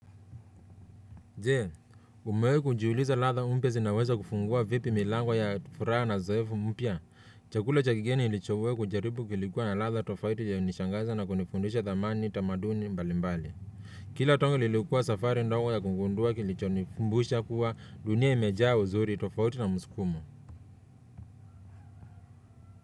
Je, umewahi kujiuliza ladha mpya zinaweza kufungua vipi milango ya furaha na uzoefu mpya? Chakula cha kigeni nilichowahi kujaribu kilikuwa na ladha tofauti iliyo nishangaza na kunifundisha thamani, tamaduni, mbali mbali. Kila tonge lilikuwa safari ndogo ya kungundua kilicho nikumbusha kuwa dunia imejaa uzuri, tofauti na mskumo.